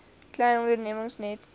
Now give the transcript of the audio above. klein ondernemings net